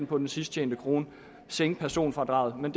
på den sidst tjente krone og sænke personfradraget men